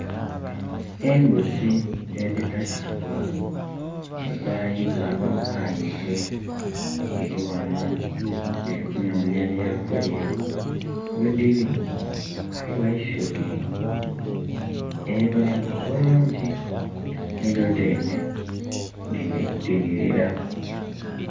Embuzi edhitasibwa, edhayibwa obwayibwe, dhiri ghano, dhiri kunonya byakulya. Ghedhiri ghaligho eisubi eribonheka obulungi nidho dhene dhinhilira.